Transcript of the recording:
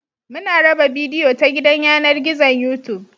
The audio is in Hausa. Muna raba bidiyo ta gidan yanar gizon Youtube